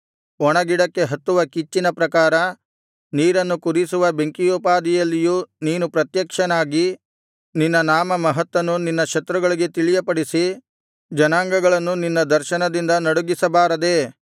ಒಣಗಿಡಕ್ಕೆ ಹತ್ತುವ ಕಿಚ್ಚಿನ ಪ್ರಕಾರ ನೀರನ್ನು ಕುದಿಸುವ ಬೆಂಕಿಯೋಪಾದಿಯಲ್ಲಿಯೂ ನೀನು ಪ್ರತ್ಯಕ್ಷನಾಗಿ ನಿನ್ನ ನಾಮಮಹತ್ತನ್ನು ನಿನ್ನ ಶತ್ರುಗಳಿಗೆ ತಿಳಿಯಪಡಿಸಿ ಜನಾಂಗಗಳನ್ನು ನಿನ್ನ ದರ್ಶನದಿಂದ ನಡುಗಿಸಬಾರದೇ